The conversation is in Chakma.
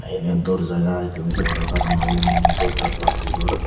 eni yo dorjaa i tumi say paror karon ye mo moneh dorja plasticor.